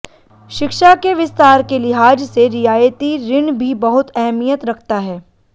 शिक्षा के विस्तार के लिहाज से रियायती ऋण भी बहुत अहमियत रखता है